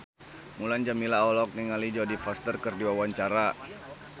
Mulan Jameela olohok ningali Jodie Foster keur diwawancara